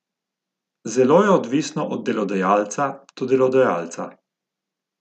Zelo je odvisno od delodajalca do delodajalca.